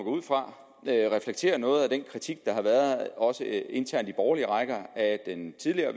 ud fra reflekterer noget af den kritik der har været også internt i borgerlige rækker af den tidligere